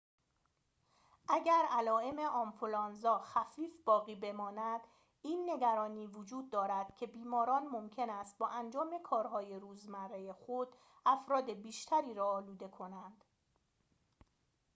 اگر علائم آنفلوانزا خفیف باقی بماند این نگرانی وجود دارد که بیماران ممکن است با انجام کارهای روزمره خود افراد بیشتری را آلوده کنند